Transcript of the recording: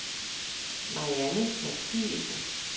Marianne Mathiesen